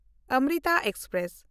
Amrita express